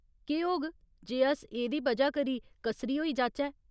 केह् होग जे अस एह्दी वजह करी कसरी होई जाचै ?